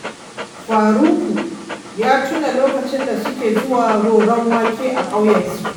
Faruku ya tuna lokacin da suke zuwa roron wake a ƙauyensu